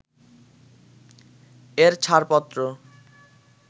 এর ছাড়পত্র